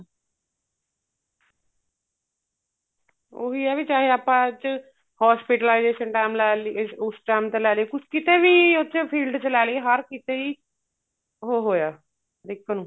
ਉਹੀ ਏ ਵੀ ਚਾਹੇ ਆਪਾਂ ਚ hospitalization time ਲੈ ਲਈ ਉਸ time ਤਾਂ ਲੈ ਲਈ ਕਿਤੇ ਵੀ ਉਸ field ਚ ਲੈਲੀਏ ਹਰ ਕਿਤੇ ਈ ਉਹ ਹੋਇਆ